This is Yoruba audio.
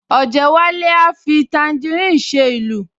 Ọ̀jẹ́wálé a fi tàǹgíìrì ṣe ìlù